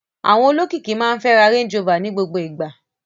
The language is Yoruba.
Àwọn olókìkí máa ń fẹ́ ra Range Rover ní gbogbo ìgbà.